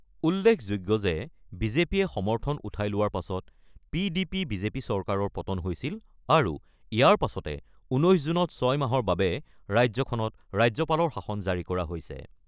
উল্লেখযোগ্য যে বিজেপিয়ে সমৰ্থন উঠাই লোৱাৰ পাছত পি ডি পি-বিজেপি চৰকাৰৰ পতন হৈছিল আৰু ইয়াৰ পাছতে ১৯ জুনত ৬ মাহৰ বাবে ৰাজ্যখনত ৰাজ্যপালৰ শাসন জাৰি কৰা হৈছে।